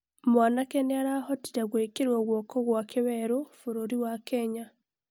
mwanake nĩarahotire gwĩkĩrwo gũoko gwake werũ bũrũri wa Kenya